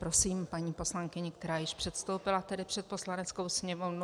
Prosím, paní poslankyni, která již předstoupila tedy před Poslaneckou sněmovnu.